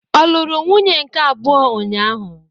Ọ lụrụ nwunye nke abụọ ụnyahụ?